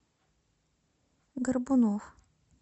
горбунов